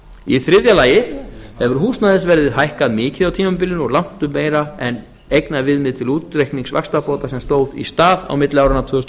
í þriðja lagi hefur húsnæðisverð hækkað mikið á tímabilinu og langtum meira en eignaviðmið til útreiknings vaxtabóta sem stóð í stað á milli áranna tvö þúsund og